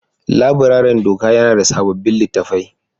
Laburaren doka yana da sabbin littattafai